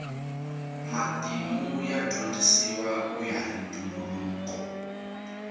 matimu ya dyondzisiwa kuya hi ntumbuluko